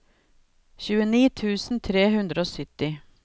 tjueni tusen tre hundre og sytti